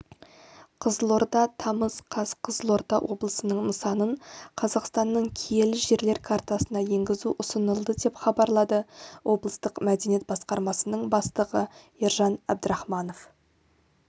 қызылорда тамыз қаз қызылорда облысының нысанын қазақстанның киелі жерлер картасына енгізу ұсынылды деп хабарлады облыстық мәдениет басқармасының бастығы ержан әбдірахманов